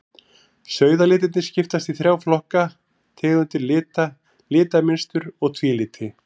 Sauðalitirnir skiptast í þrjá flokka, tegundir lita, litamynstur og tvíliti.